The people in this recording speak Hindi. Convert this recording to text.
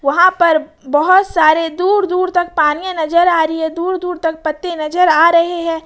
वहां पर बहुत सारे दूर दूर तक पानिया नजर आ रही है दूर तक पत्ते नजर आ रहे हैं।